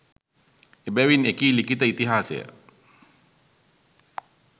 එබැවින් එකී ලිඛිත ඉතිහාසය